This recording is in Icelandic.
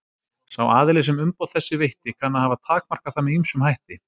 Sá aðili sem umboð þessi veitti kann að hafa takmarkað það með ýmsum hætti.